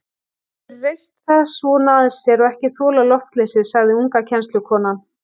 Hún hefur reyrt það svona að sér og ekki þolað loftleysið, sagði unga kennslukonan.